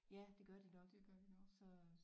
Ja det gør de nok så